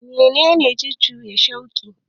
Menene jujuya shuƙi?